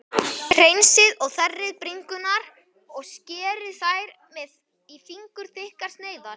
Hreinsið og þerrið bringurnar og skerið þær í fingurþykkar sneiðar.